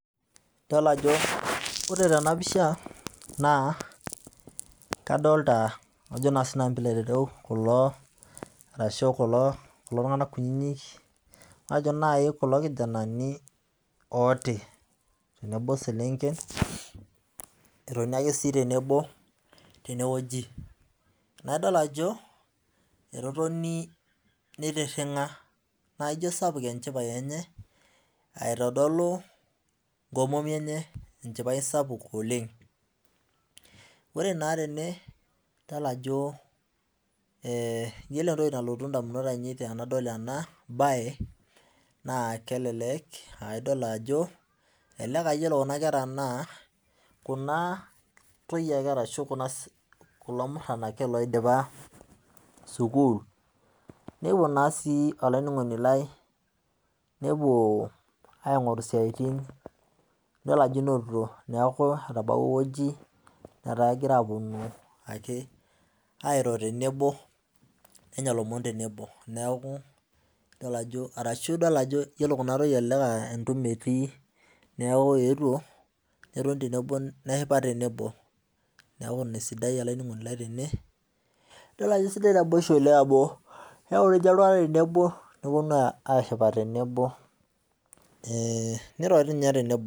Idol ajo ore tenapisha kadolta kajo na sinanu pilo ayiolou kulo arashukulo kijanani ltii tenebo osekenken etoni ake tenewueji nadol ajo etotoni nitiringa na ijo sapuk enchipae enye aitodolu nkomomi enye enchipae sapuk oleng ore na tene nidol ajo iyolo entoki nalotu ndamunot ainei tanadol ena na keleke aa iyolo kuna kera naa kuna toyie ashu kulo muran oidipa sukul nepuo naa si olaininingoni lai nepuo aingoru siatin nidol ajo etaakegira ake aponu airo tenebo arashu idol ajo yiolo kina toyie na entumi etii netoni tenebo neshipa tenebo neaku inaesidai olaininingoni lai tene idol ajo kesidai naboisho neaku ore ltunganak tenebo neponu ashipakino tenebo niro nye tenebo.